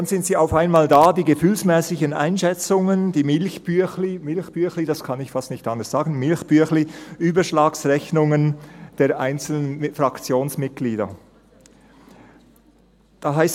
Dann sind sie auf einmal da, die gefühlsmässigen Einschätzungen, die «Milchbüechli»-Überschlagsrechnungen der einzelnen Fraktionsmitglieder – das kann ich fast nicht anders sagen.